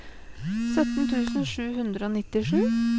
sytten tusen sju hundre og nittisju